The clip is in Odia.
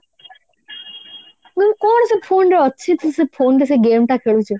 ନାଇଁ କଣ ସେଇ phone ରେ ଅଛି ସେ phone ରେ game ଟା ଖେଳୁଛୁ